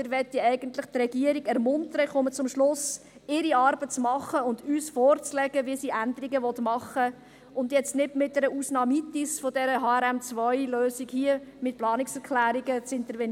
Wir möchten eigentlich die Regierung ermuntern – ich komme zum Schluss –, ihre Arbeit zu tun und uns vorzulegen, wie sie Änderungen machen will, anstatt jetzt mit einer «Ausnahmitis» von dieser HRM2-Lösung hier mittels Planungserklärungen zu intervenieren.